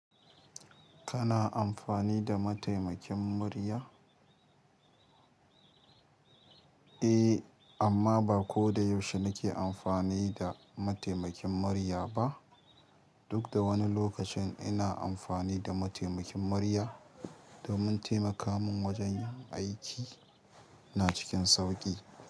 Kana amfani da mataimakin murya? Eh amma ba ko da yaushe nake amfani da mataimakin manya ba duk da wani lokacin ina amfani da mataimakin murya domin taimaka min wajen aiki na cikin sauƙi.